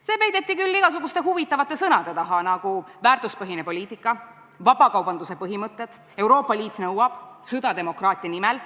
See peideti küll igasuguste huvitavate sõnade taha, nagu "väärtuspõhine poliitika", "vabakaubanduse põhimõtted", "Euroopa Liit nõuab", "sõda demokraatia nimel".